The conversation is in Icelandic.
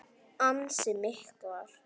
Ansi miklar.